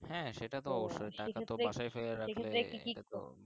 হ্যাঁ সেটা তো সেক্ষেত্রে সেক্ষেত্রে কি কি।